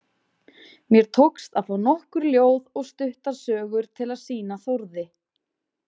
Mér tókst að fá nokkur ljóð og stuttar sögur til að sýna Þórði.